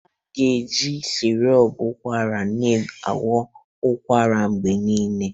A ga-eji sirop ụkwara na-agwọ ụkwara mgbe niile.